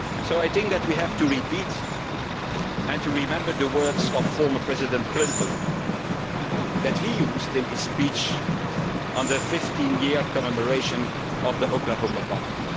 I think that we have to repeat and to remember the words of former President Clinton in his speech on the 15 year commemoration of the Oklahoma bombing.